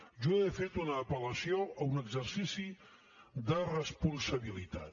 jo he fet una apel·lació a un exercici de responsabilitat